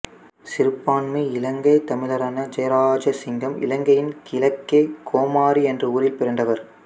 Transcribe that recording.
சிறுபான்மை இலங்கைத் தமிழரான ஜெயராஜசிங்கம் இலங்கையின் கிழக்கே கோமாரி என்ற ஊரில் பிறந்தவர்